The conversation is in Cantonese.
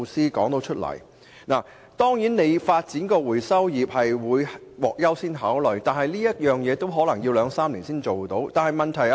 發展可以處理本地廢紙的回收業將獲優先考慮，但可能也需要兩三年時間。